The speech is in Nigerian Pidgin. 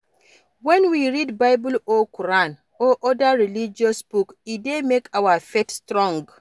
When we read bible or Quran or oda religious books e dey make our faith strong